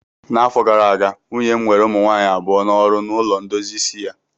N'afọ gara aga, nwunye m were ụmụ nwaanyị abụọ n'ọrụ na ụlọ ndozi isi ya